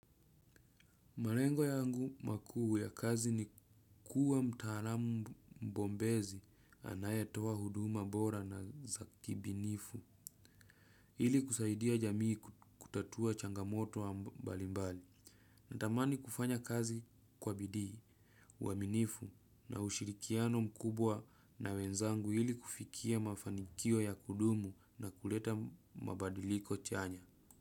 Malengo yangu makuu ya kazi ni kuwa mtaalamu mbombezi anayetoa huduma bora na za kibinifu. Ili kusaidia jamii kutatua changamoto wa mbalimbali. Natamani kufanya kazi kwa bidii uaminifu na ushirikiano mkubwa na wenzangu hili kufikia mafanikio ya kudumu na kuleta mabadiliko chanya.